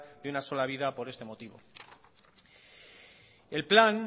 de una sola vida por este motivo el plan